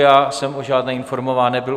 Já jsem o žádné informován nebyl.